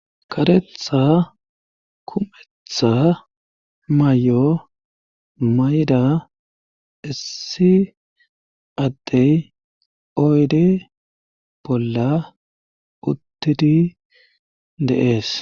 Karetha kumetha mayy7o mayda issi addey oydi bolla uttidi deees.